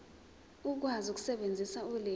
ukwazi ukusebenzisa ulimi